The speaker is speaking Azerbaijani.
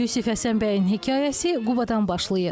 Yusif Həsənbəyin hekayəsi Qubadan başlayır.